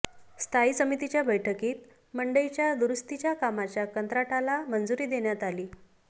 स्थायी समितीच्या बैठकीत मंडईच्या दुरुस्तीच्या कामाच्या कंत्राटाला मंजुरी देण्यात आली